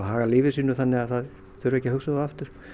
haga lífi sínu þannig að það þurfi ekki að hugsa um það aftur